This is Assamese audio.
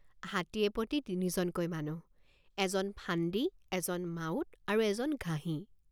হাতীয়েপতি তিনিজনকৈ মানুহ এজন ফান্দীএজন মাউত আৰু এজন ঘাঁহী।